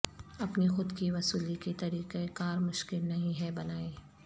اپنی خود کی وصولی کے طریقہ کار مشکل نہیں ہے بنائیں